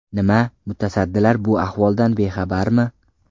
Nima, mutasaddilar bu ahvoldan bexabarmi?